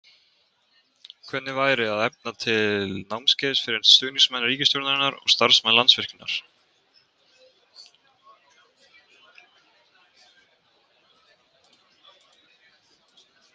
Hvernig væri að efna til námskeiðs fyrir stuðningsmenn ríkisstjórnarinnar og starfsmenn Landsvirkjunar?